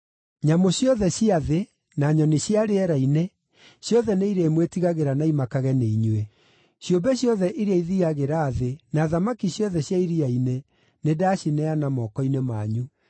Nyamũ ciothe cia thĩ, na nyoni cia rĩera-inĩ, ciothe nĩ irĩmwĩtigagĩra na imakage nĩ inyuĩ, ciũmbe ciothe iria ithiiagĩra thĩ, na thamaki ciothe cia iria-inĩ; nĩndacineana moko-inĩ manyu.